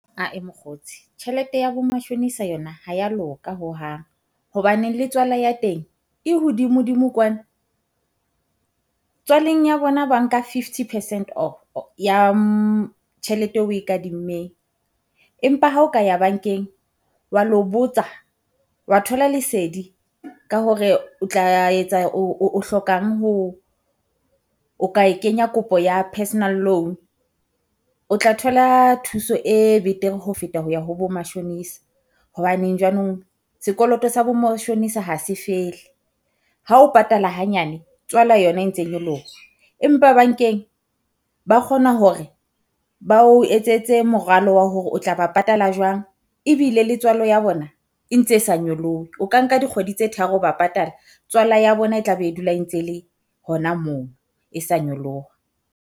Ah-eh mokgotsi tjhelete ya bo matjhonisa yona ha ya loka hohang, hobaneng le tswala ya teng e hodimo-dimo kwana. Tswaleng ya bona ba nka fifty percent ya tjhelete eo oe kadimmeng. Empa ha o ka ya bankeng wa lo botsa wa thola lesedi ka hore o tla etsa o hlokang ho o ka e kenya kopo ya personal loan o tla thola thuso e betere ho feta ho ya ho bo mashonisa. Hobaneng jwanong sekoloto sa bo mashonisa ha se fele. Ha o patala hanyane, tswala yona e ntse nyoloha, empa bankeng ba kgona hore bao etsetse moralo wa hore o tla ba patala jwang, ebile letswalo ya bona e ntse e sa nyolohe. O ka nka dikgwedi tse tharo ba patala. Tswala ya bona e tla be e dula e ntse le hona moo, e sa nyoloha.